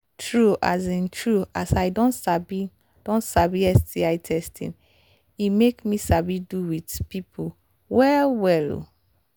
true um true as i don sabi don sabi sti testing e make me sabi do with people well well um